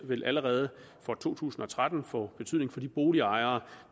vil allerede for to tusind og tretten få betydning for de boligejere